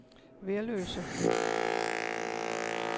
Værløse